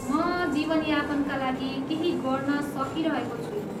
म जीवनयापनका लागि केही गर्न सकिरहेको छुइनँ।